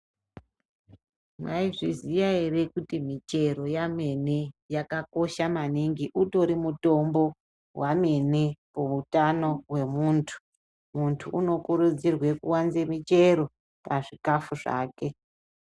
Maizviziya ere kuti michero yemene yakakosha maningi utori mutombo wamene kuutano wemuntu . Muntu unokurudzirwa kuwanze michero pazvikafu zvake.